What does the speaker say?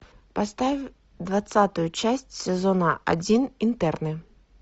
поставь двадцатую часть сезона один интерны